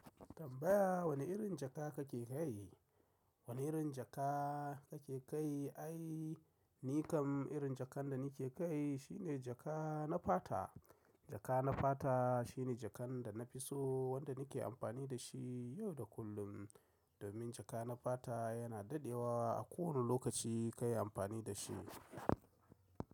Tambaya wane irin jaka kake kai? Wane irin jaka kake kai? Ai, ni kam irin jakan da nake kai shi ne jaka na fata. Jaka na fata shine jakan da na fi so wanda nake amfani da shi yau da kullum. Domin jaka na fata yana dadewa a kowane lokaci kayi amfani da shi.